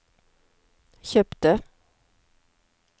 kjøpte